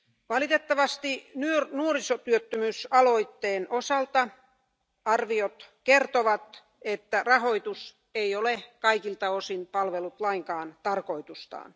Valitettavasti nuorisotyöttömyysaloitteen osalta arviot kertovat, että rahoitus ei ole kaikilta osin palvellut lainkaan tarkoitustaan.